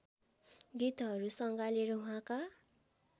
गीतहरू सङ्गालेर उहाँका